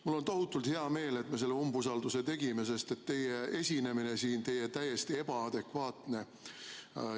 Mul on tohutult hea meel, et me selle umbusaldusavalduse esitasime, sest teie esinemine, teie jutt on täiesti ebaadekvaatne.